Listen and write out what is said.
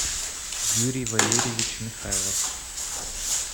юрий валерьевич михайлов